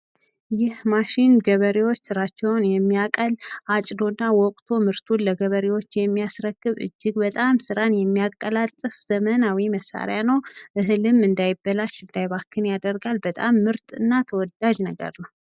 ይህ ማሽን የገበሬዎችን ስራ የሚያቀል፣ አጭዶና ወቅቶ ምርቱን ለገበሬዎች የሚያስረክብ እጅግ በጣም ስራን የሚያቀላጥፍ ዘመናዊ መሳሪያ ነው። እህልም እንዳይባክን የሚያደርግ እጅግ በጣም ተወዳጅ መሳሪያ ነው።